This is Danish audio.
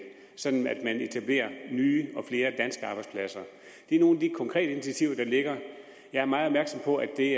sådan at man etablerer nye og flere danske arbejdspladser det er nogle af de konkrete initiativer der ligger jeg er meget opmærksom på at det